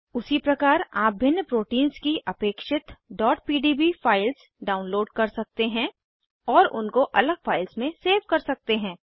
उसी प्रकार आप भिन्न प्रोटीन्स की अपेक्षित pdb फाइल्स डाउनलोड कर सकते हैं और उनको अलग फाइल्स में सेव कर सकते हैं